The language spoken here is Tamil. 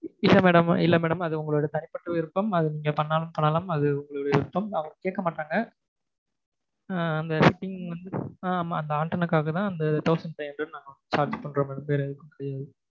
இல்லை madam இல்லை madam அது உங்க தனிப்பட்ட விருப்பம் அது நீங்க பண்ணணாலும் பண்ணலாம் அது உங்களுடைய விருப்பம் அதை கேட்க மாட்டாங்க ஆஹ் அந்த வந்து அந்த antenna க்காகத்தான் அந்த thousand five hundred நாங்க charge பண்றோம் madam வேற எதுக்கும் கிடையாது